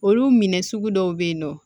Olu minɛ sugu dɔw bɛ yen nɔ